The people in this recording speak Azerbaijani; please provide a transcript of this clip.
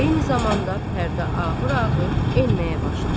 Eyni zamanda pərdə ağır-ağır enməyə başlar.